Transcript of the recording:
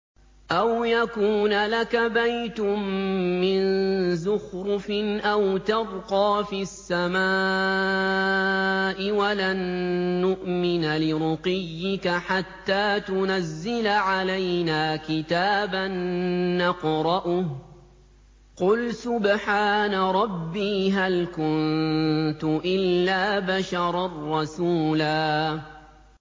أَوْ يَكُونَ لَكَ بَيْتٌ مِّن زُخْرُفٍ أَوْ تَرْقَىٰ فِي السَّمَاءِ وَلَن نُّؤْمِنَ لِرُقِيِّكَ حَتَّىٰ تُنَزِّلَ عَلَيْنَا كِتَابًا نَّقْرَؤُهُ ۗ قُلْ سُبْحَانَ رَبِّي هَلْ كُنتُ إِلَّا بَشَرًا رَّسُولًا